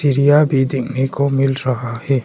सीढ़ियां भी दिखने को मिल रहा है।